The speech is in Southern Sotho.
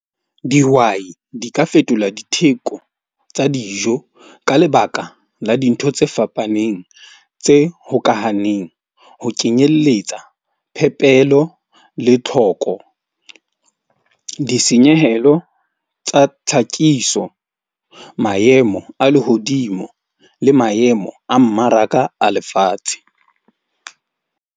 Dihwai di ka fetola ditheko tsa dijo ka lebaka la dintho tse fapaneng tse hokahaneng, ho kenyelletsa phepelo le tlo thoko, ditshenyehelo tsa tlhakiso, maemo a lehodimo le maemo a mmaraka a lefatshe.